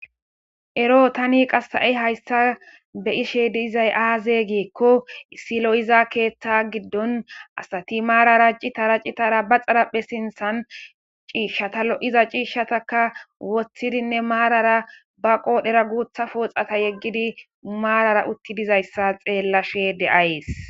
Ero tani qassa7i hayssa be ishe di izay aaze geekko silo7iza keeththa giddon asati maarara citara citara ba xaraphe sinthan ciishshatalo7iza ciishshataka woththidinne maarara ba qoodhera guutha pooxata yeggidi maarara utti dizayssa xeellashe de7ayes.